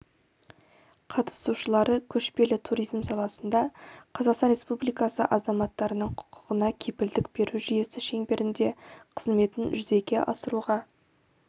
қатысушылары көшпелі туризм саласында қазақстан республикасы азаматтарының құқығына кепілдік беру жүйесі шеңберінде қызметін жүзеге асыруға